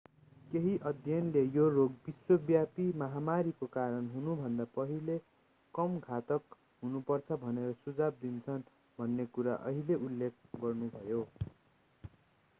केही अध्ययनले यो रोग विश्वव्यापी महामारीको कारण हुनुभन्दा पहिले कम घातक हुनुपर्दछ भनेर सुझाव दिन्छन् भन्ने कुरा उहाँले उल्लेख गर्नुभयो